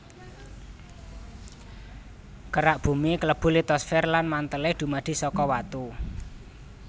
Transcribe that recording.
Kerak Bumi klebu litosfer lan mantèlé dumadi saka watu